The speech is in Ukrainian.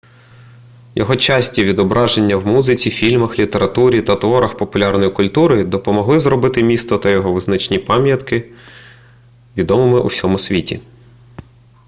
його часті відображення в музиці фільмах літературі та творах популярної культури допомогли зробити місто та його визначні пам'ятки відомими у всьому світі